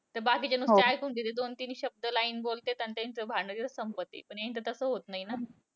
ते बाकीचे नुसते ऐकून घेत्यात. दोन, तीन शब्द line बोलत्यात आणि त्यांचं भांडण लगेच संपते. पण यांचं तसं होतं नाही ना.